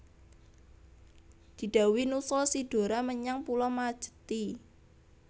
Didhawuhi nusul si Dora menyang pulo Majethi